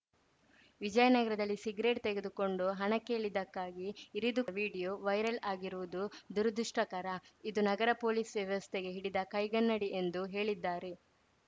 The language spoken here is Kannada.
ವಿಜಯನಗರದಲ್ಲಿ ಸಿಗರೇಟ್‌ ತೆಗೆದುಕೊಂಡು ಹಣ ಕೇಳಿದ್ದಕ್ಕಾಗಿ ಇರಿದು ಮಾಡಿರುವ ವಿಡಿಯೋ ವೈರಲ್‌ ಆಗಿರುವುದು ದುರುದೃಷ್ಟಕರ ಇದು ನಗರದ ಪೊಲೀಸ್‌ ವ್ಯವಸ್ಥೆಗೆ ಹಿಡಿದ ಕೈಗನ್ನಡಿ ಎಂದು ಹೇಳಿದ್ದಾರೆ